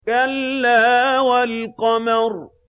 كَلَّا وَالْقَمَرِ